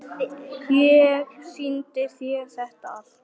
Ég sýndi þér þetta allt.